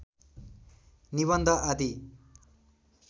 निबन्ध आदि